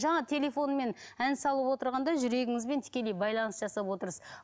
жаңа телефонмен ән салып отырғанда жүрегіңізбен тікелей байланыс жасап отырсыз